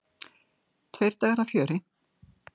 Tveir dagar af fjöri.